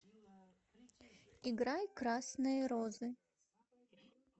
играй красные розы